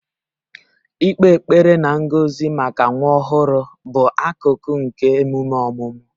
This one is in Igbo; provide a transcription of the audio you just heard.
Ịkpe ekpere na ngọzi maka nwa ọhụrụ bụ akụkụ nke emume ọmụmụ